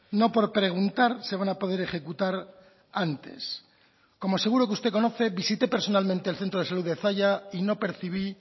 no por preguntar se van a poder ejecutar antes como seguro que usted conoce visité personalmente el centro de salud de zalla y no percibí